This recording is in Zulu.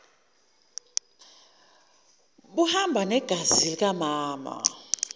buhamba ngegazi likamama